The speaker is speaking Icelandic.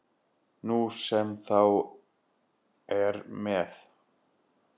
Nú sem þá er með